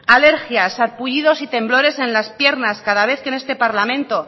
alergia sarpullidos y temblores en las piernas cada vez que en este parlamento